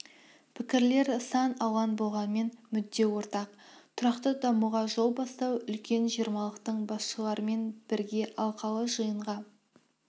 пікірлер сан алуан болғанмен мүдде ортақ тұрақты дамуға жол бастау үлкен жиырмалықтың басшыларымен бірге алқалы жиынға